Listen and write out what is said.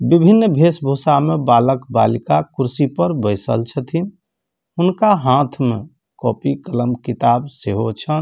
विभिन्न भेस-भूसा में बालक बालिका कुर्सी पर बैसल छथिन उनका हाथ में कॉपी कलम किताब से हो छन।